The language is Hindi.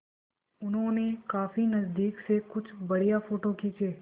उन्होंने काफी नज़दीक से कुछ बढ़िया फ़ोटो खींचे